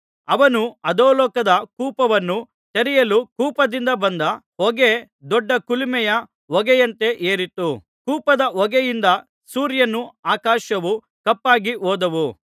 ಅವನು ಅಧೋಲೋಕದ ಕೂಪವನ್ನು ತೆರೆಯಲು ಕೂಪದಿಂದ ಬಂದ ಹೊಗೆ ದೊಡ್ಡ ಕುಲುಮೆಯ ಹೊಗೆಯಂತೆ ಏರಿತು ಕೂಪದ ಹೊಗೆಯಿಂದ ಸೂರ್ಯನೂ ಆಕಾಶವೂ ಕಪ್ಪಾಗಿ ಹೋದವು